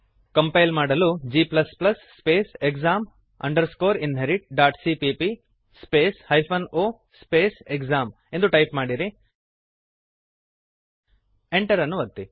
compile ಮಾಡಲು g space exam inheritcpp space hyphen o space exam ಎಂದು type ಮಾಡಿರಿ Enter ಅನ್ನು ಒತ್ತಿರಿ